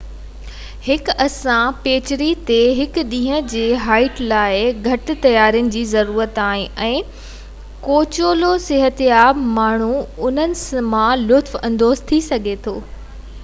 هڪ آسان پيچري تي هڪ ڏينهن جي هائيڪ لاءِ گهٽ تيارين جي ضرورت آهي ۽ ڪو وچولو صحتياب ماڻهو انهن مان لطف اندوز ٿي سگهي ٿو